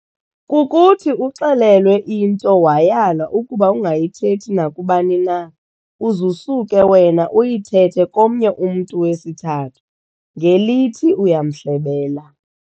Kukuthi uxelelwe into wayalwa ukuba ungayithethi nakubani na, uz'usuke wena uyithethe komnye umntu wesithathu, ngelithi uyamhlebela.